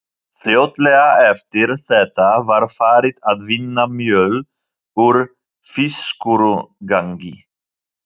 Fljótlega eftir þetta var farið að vinna mjöl úr fiskúrgangi.